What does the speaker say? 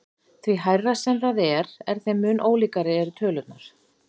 Því hærra sem það er þeim mun ólíkari eru tölurnar.